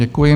Děkuji.